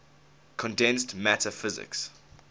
condensed matter physics